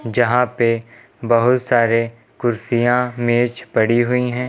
यहां पे बहुत सारे कुर्सियां मेंज पड़ी हुई हैं।